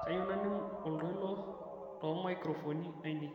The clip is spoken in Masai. kayieu naning' oltoilo toomaikirofoni ainei